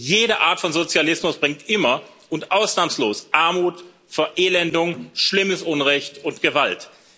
Jede Art von Sozialismus bringt immer und ausnahmslos Armut, Verelendung, schlimmes Unrecht und Gewalt.